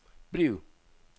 bliv